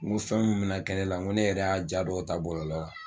N go fɛn min me na kɛ ne la n go ne yɛrɛ y'a ja dɔw ta bɔlɔlɔ la kan